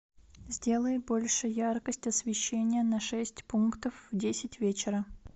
сделай больше яркость освещения на шесть пунктов в десять вечера